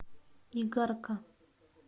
игарка